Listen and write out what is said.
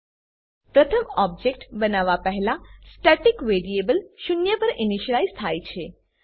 પ્રથમ object object બનવા પહેલા સ્ટેટિક વેરિએબલ્સ સ્ટેટિક વેરીએબલો શૂન્ય પર ઈનીશલાઈઝ થાય છે